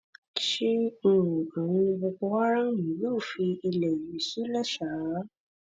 ṣé um àwọn boko haram yóò fi ilẹ̀ yìí sílẹ̀ ṣáá